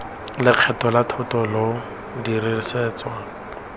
lekgetho la thoto lo dirisetswa